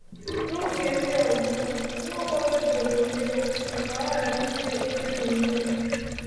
N’oge ndị ọzọ, Nwaokolo jidere onwe ya ka ọ ghara ime ihe n’onwe ya.